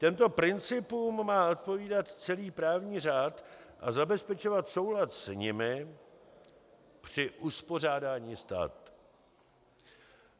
Těmto principům má odpovídat celý právní řád a zabezpečovat soulad s nimi při uspořádání státu.